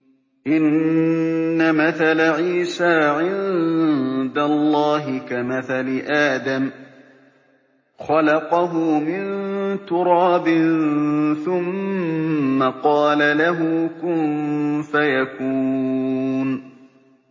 إِنَّ مَثَلَ عِيسَىٰ عِندَ اللَّهِ كَمَثَلِ آدَمَ ۖ خَلَقَهُ مِن تُرَابٍ ثُمَّ قَالَ لَهُ كُن فَيَكُونُ